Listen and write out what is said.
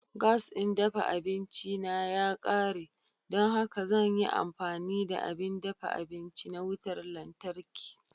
Gas ɗin dafa abinci na ya ƙare, don haka zan yi amfani da abin dafa abinci na wutar lantarki.